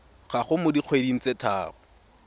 gago mo dikgweding tse tharo